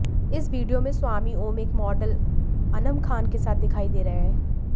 इस वीडियो में स्वामी ओम एक मॉडल अनम खान के साथ दिखाई दे रहे हैं